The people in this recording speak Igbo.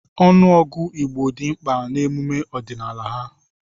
Ọnụọgụ Igbo dị mkpa n'emume ọdịnala ha.